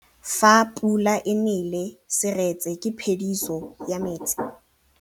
Fa pula e nelê serêtsê ke phêdisô ya metsi.